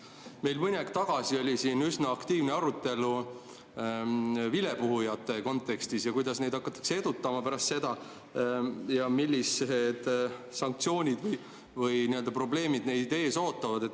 Meil mõni aeg tagasi oli siin üsna aktiivne arutelu vilepuhujate kontekstis, et kuidas neid hakatakse edutama pärast seda ja millised sanktsioonid või probleemid neid ees ootavad.